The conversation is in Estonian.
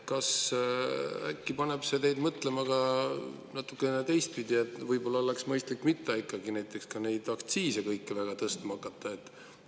Kas see äkki paneb teid mõtlema ka natukene teistpidi, et võib-olla oleks mõistlik ikkagi mitte hakata kõiki neid aktsiise väga tõstma?